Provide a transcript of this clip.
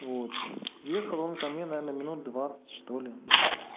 вот ехал он ко мне наверное минут двадцать что ли